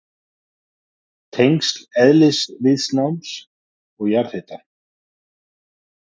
Tengsl eðlisviðnáms og jarðhita